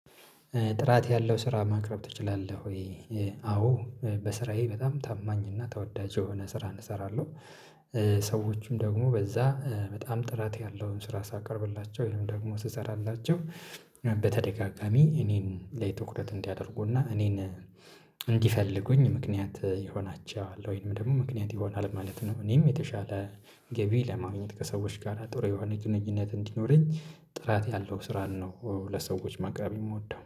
ጥራት ያለው ስራ ማቅረብ ትችላለህ ወ? አዎ በስራዬ በጣም ታማኝ እና ተወዳጅ የሆነ ስራን እሰራለሁ፤ ሰዎችም ደግሞ በዛ በጣም ጥራት ያለውን ስራ ሳቀርብላቸው ይሄንም ደግሞ ስሰራላቸው በተደጋጋሚ እኔን ላይ ትኩረት እንዲያደርጉና እኔን እንዲፈልጉኝ ምክንያት ይሆናቸዋል ወይንም ደግሞ ምክንያት ይሆናል ማለት ነው፤ እኔም የተሻለ ገቢ ለማግኘት ከሰዎች ጋር ጥሩ የሆነ ግንኙነት እንዲኖረኝ ጥራት ያለው ስራን ነው ለሰዎች ማቅረብ የምወደው።